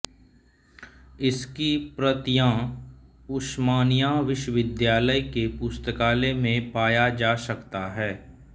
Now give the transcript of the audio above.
इसकी प्रतियां उस्मानिया विश्वविद्यालय के पुस्तकालय में पाया जा सकता है